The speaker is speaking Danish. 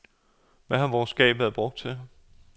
Hvad har vores skab været brugt til?